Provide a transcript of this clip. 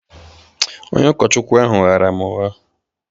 Onye ụkọchukwu ahụ ghaara m ụgha